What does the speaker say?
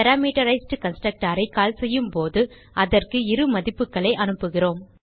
parameterized constructorஐ call செய்யும்போது அதற்கு இரு மதிப்புகளை அனுப்புகிறோம்